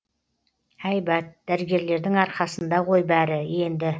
әйбат дәрігерлердің арқасында ғой бәрі енді